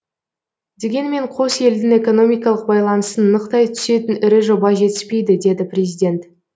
дегенмен қос елдің экономикалық байланысын нықтай түсетін ірі жоба жетіспейді деді президент